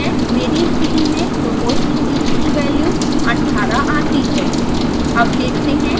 मेरी स्थिति में proportional gain की वैल्यू 18 आती है